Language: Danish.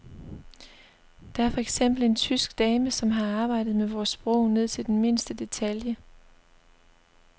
Der er for eksempel en tysk dame, som har arbejdet med vores sprog ned til den mindste detalje.